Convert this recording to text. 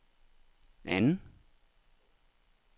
anden